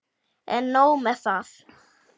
En nóg með það.